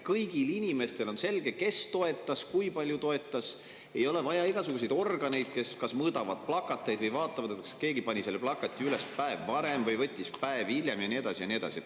Kõigil inimestel on selge, kes toetas, kui palju toetas, ei ole vaja igasuguseid organeid, kes mõõdavad plakateid või vaatavad, kas keegi pani selle plakati üles päev varem või võttis päev hiljem, ja nii edasi ja nii edasi.